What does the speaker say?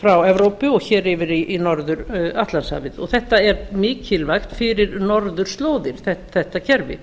frá evrópu og hér yfir í norður atlantshafið og þetta er mikilvægt fyrir norðurslóðir þetta kerfi